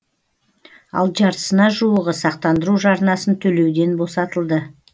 ал жартысына жуығы сақтандыру жарнасын төлеуден босатылды